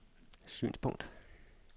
synspunkt